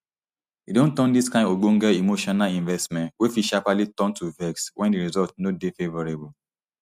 e don turn dis kain ogbonge emotional investment wey fit sharparly turn to vex wen di results no dey favourable